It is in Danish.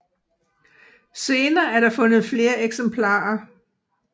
Senere er der fundet flere eksemplarer